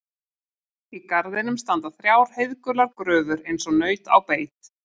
Í garðinum standa þrjár heiðgular gröfur eins og naut á beit.